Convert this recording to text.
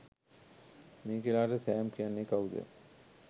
මිකේලාට Sam කියන්නේ කවුද